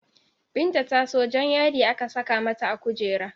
Binta ta so Jan yadi aka saka mata a kujera